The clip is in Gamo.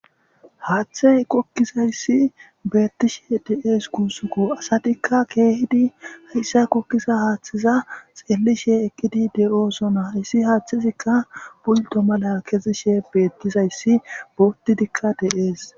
Haaththey qokkizayssi beettishe de7ees guusukko asatikka keehidi hayssa kokkiza haaththiza xeelishe ekkidi de7oosona hayssi haaththizikka buldo mala kezishe beettizayssi bootidikka de7ees.